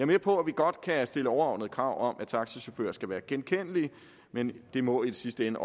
med på at vi godt kan stille overordnede krav om at taxachauffører skal være genkendelige men det må i sidste ende